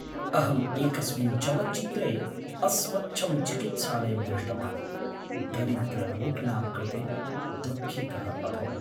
अहम् एकस्मिन् चलच्चित्रे अस्वच्छं चिकित्सालयं दृष्टवान्, दरिद्ररोगिणां कृते दुःखितः अभवम्।